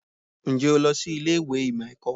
Ǹjẹ́ o lọ sí ilé ìwé ìmọ̀ ẹ̀kọ́?